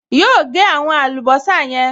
Yóò gẹ́ àwọn àlùbọ́sà yẹn